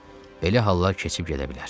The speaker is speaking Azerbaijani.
Belə hallar keçib gedə bilər.